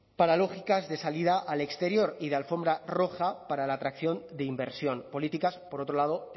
para lógicas de salida al exterior y de alfombra roja para la atracción de inversión políticas por otro lado